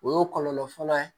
O y'o kɔlɔlɔ fɔlɔ ye